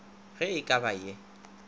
ge e ka ba ye